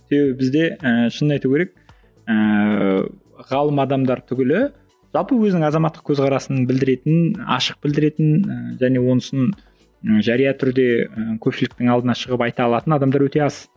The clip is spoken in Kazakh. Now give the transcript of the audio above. себебі бізде ііі шынын айту керек ііі ғалым адамдар түгілі жалпы өзінің азаматтық көзқарасын білдіретін ашық білдіретін ііі және онысын і жария түрде ііі көпшіліктің алдына шығып айта алатын адамдар өте аз